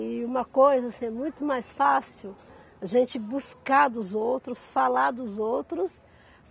E uma coisa assim, é muito mais fácil, a gente buscar dos outros, falar dos outros.